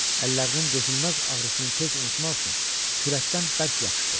Əllərinin dözülməz ağrısını tez unutmaq üçün kürəkdən bərk yapışdı.